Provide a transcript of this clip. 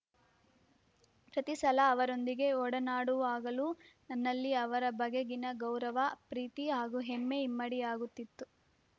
ಪ್ರತಿ ಸಲ ಅವರೊಂದಿಗೆ ಒಡನಾಡುವಾಗಲೂ ನನ್ನಲ್ಲಿ ಅವರ ಬಗೆಗಿನ ಗೌರವ ಪ್ರೀತಿ ಹಾಗೂ ಹೆಮ್ಮೆ ಇಮ್ಮಡಿಯಾಗುತ್ತಿತ್ತು